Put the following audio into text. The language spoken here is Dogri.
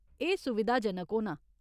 एह् सुविधाजनक होना।